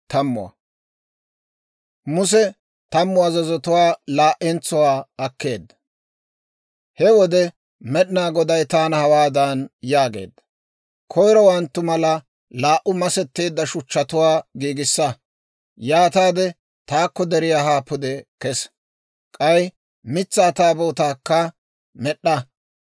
«He wode Med'inaa Goday taana hawaadan yaageedda; ‹Koyirowanttu mala laa"u masetteedda shuchchatuwaa giigissa. Yaataade taakko deriyaa haa pude kesa; k'ay mitsaa Taabootaakka med'd'a.